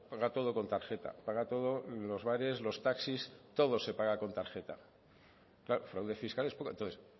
paga todo con tarjeta paga todo en los bares los taxis todo se paga con tarjeta claro fraude fiscal es poco entonces